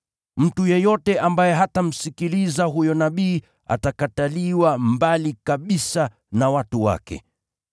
Mtu yeyote ambaye hatamsikiliza huyo nabii, atatupiliwa mbali kabisa na watu wake.’